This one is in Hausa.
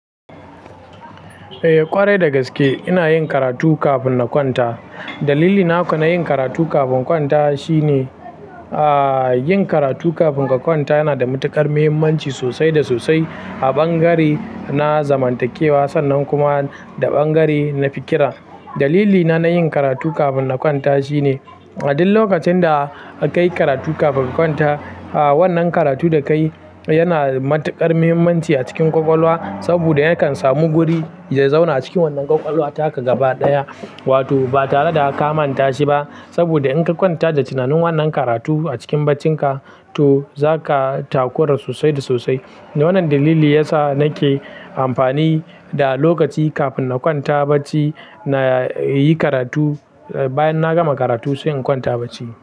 Eh ƙwarai dagaske ina yin karatu kafin na kwanta. Dalili na na yin karatu kafin na kwanta shine, ah, yin karatu kafin ka kwanta yana da matuƙar muhimmanci sosai da sosai a bangare na zamantakewa sannan kuma da bangare na fikira. Dalili na na yin karatu kafin na kwanta shine, a duk lokacin da ka yi karatu kafin ka kwanta, ah, wannan karatu da ka yi yana da matuƙar muhimmanci a cikin kwakwalwa. Saboda yakan samu guri ya zauna a cikin wannan kwakwalwa, taka gaba ɗaya. Wato ba tare da ka manta shi ba. Saboda in ka kwanta da tunanin wannan karatu a cikin bacinka, to zaka takura sosai da sosai. Wannan dalili yasa nake amfani da lokaci kafin na kwanta bacci na yi karatu. Bayan na gama karatu sai in kwanta bacci.